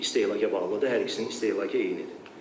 Çünki istehlaka bağlıdır, hər ikisinin istehlakı eynidir.